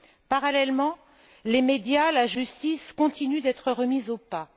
Parallèlement, les médias et la justice continuent d'être mis au pas.